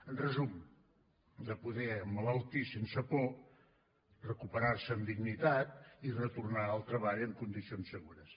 en resum de poder emmalaltir sense por recuperar se amb dignitat i retornar al treball en condicions segures